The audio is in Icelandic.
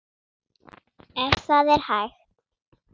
Ef það er hægt?